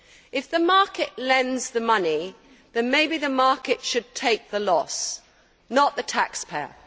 If the market lends the money, then maybe the market should take the loss, not the taxpayer.